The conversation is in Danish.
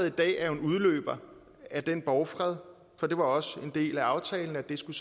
i dag er jo en udløber af den borgfred for det var også en del af aftalen at det skulle